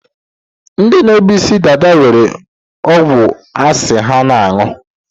Ndi na-ebu isi dada nwere ọgwụ asị ha na-aṅụ.